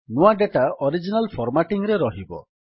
ନୂଆ data original formatting ରେ ରହିବ